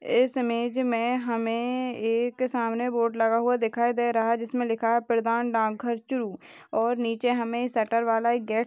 इस इमेज मे हमे एक सामने बोर्ड लगा हुआ दिखाई दे रहा है जिसमे लिखा है प्रधान डाकघर चुरू और नीचे हमे शटर वाला गेट --